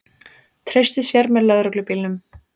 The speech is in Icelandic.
Treysti sér með lögreglubílnum